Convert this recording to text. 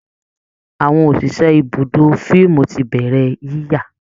Àwọn òṣìṣẹ́ ibùdó fíìmù ti bẹ̀rẹ̀ yíyà